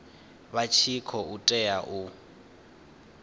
vha tshi khou tea u